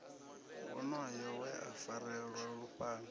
wonoyo we a farelwa lufhanga